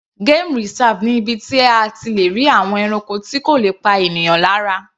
Game reserve ni ibi tí a ti le rí àwọn ẹranko tí kò le pa ènìyàn lára.